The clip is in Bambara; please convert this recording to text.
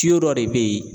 dɔ de bɛ yen